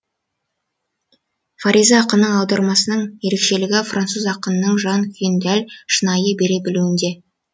фариза ақынның аудармасының ерекшелігі француз ақынының жан күйін дәл шынайы бере білуінде